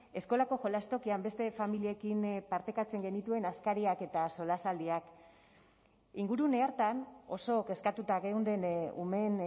eskolako jolastokian beste familiekin partekatzen genituen askariak eta solasaldiak ingurune hartan oso kezkatuta geunden umeen